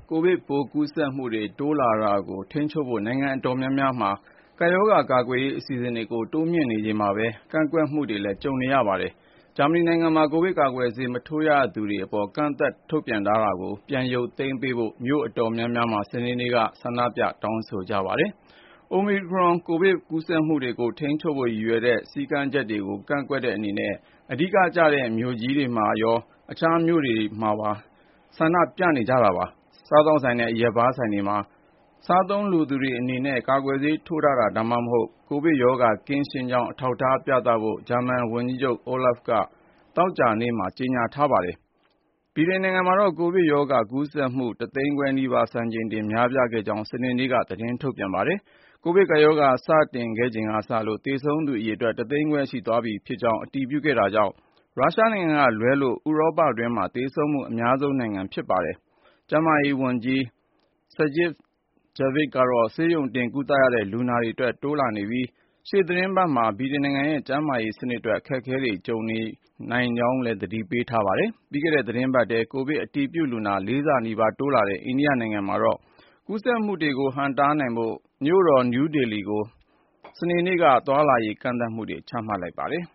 ကိုဗစ်ပိုး ကူးစက်မှုတွေ တိုးလာနေတာကို ထိန်းချုပ်ဖို့ နိုင်ငံတော်တော်များများမှာ ကပ်ရောဂါကာကွယ်ရေး အစီအစဉ်တွေကို တိုးမြှင့်နေချိန်မှာပဲ ကန့်ကွက်မှုတွေလည်း ရှိနေပါတယ်။ ဂျာမနီနိုင်ငံမှာ ကိုဗစ်ကာကွယ်ဆေး မထိုးရသေးသူတွေအပေါ် ကန့်သတ်ချက် ထုတ်ထားတာကို ပြန်ရုပ်သိမ်းပေးဖို့ မြို့အတော်များများမှာ စနေနေ့က တောင်းဆို ဆန္ဒပြခဲ့ကြပါတယ်။ အိုမီခရွန်ကိုဗစ်ပိုး ကူးစက်မှုတွေကို ထိန်းချုပ်ဖို့ ရည်ရွယ်တဲ့ စည်းကမ်းတွေကို ကန့်ကွက်တဲ့ အဓိက ဆန္ဒပြပွဲကြီးတွေကို Düsseldorf, Frankfurt နဲ့ Magdeburg မြို့တွေမှာ တွေ့ခဲ့ရသလို တခြားမြို့တွေမှာလည်း ကန့်ကွက်လှုပ်ရှားမှုတွေ ရှိခဲ့ပါတယ်။ စားသောက်ဆိုင်နဲ့ အရက်ဘားဆိုင်တွေမှာ စားသုံးလိုသူတွေအနေနဲ့ ကာကွယ်ဆေး ထိုးထားတာ ဒါမှမဟုတ် ကိုဗစ်ရောဂါ ကင်းရှင်းကြောင်း အထောက်အထား ပြသဖို့ ဂျာမန်ဝန်ကြီးချုပ် Olaf Scholz က သောကြာနေ့မှာပဲ ကြေညာထားတာပါ။ ဗြိတိန်နိုင်ငံမှာတော့ ကိုဗစ်ရောဂါကူးစက်မှု ၁ သိန်းခွဲနီးပါး စံချိန်တင် များပြားခဲ့ကြောင်း စနေနေ့မှာပဲ သတင်းထုတ်ပြန်ခဲ့ပါတယ်။ ကိုဗစ်ကပ်ရောဂါ စတင်ခဲ့ချိန်ကစလို့ သေဆုံးသူ အရေအတွက်ဟာလည်း ၁ သိန်းခွဲ ရှိသွားပြီဖြစ်ကြောင်း အတည်ပြုခဲ့တာကြောင့် ရုရှားနိုင်ငံကလွဲလို့ ဥရောပမှာ သေဆုံးမှု အများဆုံးလည်း ဖြစ်ပါတယ်။ ကျန်းမာရေးဝန်ကြီး Sajid Javid ကတော့ ဆေးရုံတင် ကုသရတဲ့ လူနာအရေအတွက် တိုးလာနေပြီး ရှေ့သီတင်းပတ်တွေမှာ ဗြိတိန်နိုင်ငံရဲ့ ကျန်းမာရေး စနစ်အတွက် အခက်အခဲတွေ ကြုံရနိုင်တယ်လို့လည်း သတိပေးထားပါတယ်။ ပြီးခဲ့တဲ့ သီတင်းပတ်ထဲ ကိုဗစ်အတည်ပြုလူနာ ၄ ဆနီးပါး တိုးလာတဲ့ အိန္ဒိယနိုင်ငံမှာတော့ ကူးစက်မှုတွေကို ဟန့်တားနိုင်ဖို့ မြို့တော် နယူးဒေလီကို စနေနေ့က သွားလာလှုပ်ရှားမှုတွေကို ကန့်သတ်လိုက်ပါတယ်။